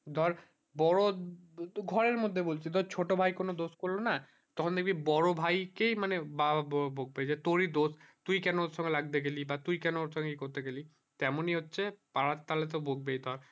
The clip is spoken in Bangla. ধর বড়ো তোর ঘরের মধ্যে বলছি তোর ছোট ভাই কোনো দোষ করলো না তখন দেখবি বড়ো ভাই কেই মানে মা বাবা রা বকবে কি তোরি দোষ তুই কেন ওর সঙ্গে লাগতে গেলি বা তুই কেন ওর সঙ্গে ই করতে গেলি তেমন ই হচ্ছে পাড়ার তাহলে তো বকবেই ধর